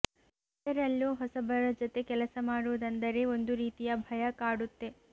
ಅದರಲ್ಲೂ ಹೊಸಬರ ಜತೆ ಕೆಲಸ ಮಾಡೋದಂದರೆ ಒಂದು ರೀತಿಯ ಭಯ ಕಾಡುತ್ತೆ